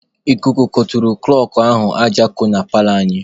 Ikuku goturu kụlọkụ ahụ aja ko na paalọ anyị.